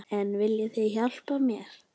En viljið þið hjálpa mér?